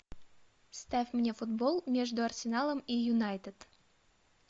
ставь мне футбол между арсеналом и юнайтед